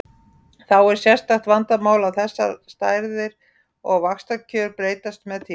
Þá er sérstakt vandamál að þessar stærðir og vaxtakjör breytast með tímanum.